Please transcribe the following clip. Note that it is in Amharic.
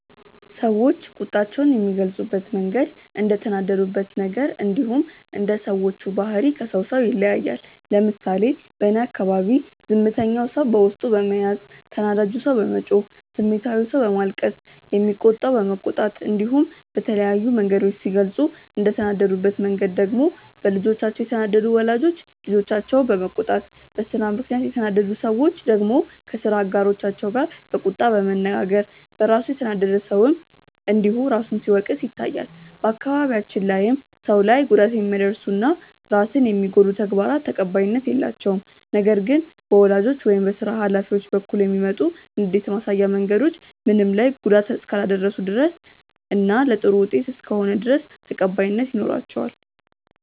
ሰዎች ቁጣቸውን የሚገልጹበት መንገድ እንደተናደዱበት ነገር እንዲሁም እንደ ሰዎቹ ባህሪ ከሰው ሰው ይለያያል። ለምሳሌ በእኔ አካባቢ ዝምተኛው ሰው በውስጡ በመያዝ፣ ተናዳጁ ሰው በመጮህ፣ ስሜታዊው ሰው በማልቀስ፣ የሚቆጣው በመቆጣት እንዲሁም በተለያዩ መንገዶች ሲገልጹ፤ እንደተናደዱበት መንገድ ደግሞ በልጆቻቸው የተናደዱ ወላጆች ልጆቻቸውን በመቆጣት፣ በስራ ምክንያት የተናደዱ ሰዎች ደግሞ ከስራ አጋሮቻቸው ጋር በቁጣ በመነጋገር፣ በራሱ የተናደደ ሰውም እንዲሁ ራሱን ሲወቅስ ይታያል። በአካባቢያችን ላይም ሰው ላይ ጉዳት የሚያደርሱ እና ራስን የሚጎዱ ተግባራት ተቀባይነት የላቸውም። ነገር ግን በወላጆች ወይም በስራ ሀላፊዎች በኩል የሚመጡ ንዴት ማሳያ መንገዶች ምንም ላይ ጉዳት እስካላደረሱ ድረስ እና ለጥሩ ውጤት እስከሆነ ድረስ ተቀባይነት ይኖራቸዋል።